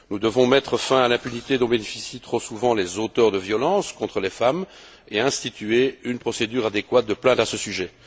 Nous devons mettre fin à l'impunité dont bénéficient trop souvent les auteurs de violences contre les femmes et instituer une procédure adéquate de plainte à ce sujet.